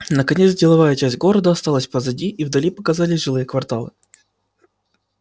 наконец деловая часть города осталась позади и вдали показались жилые кварталы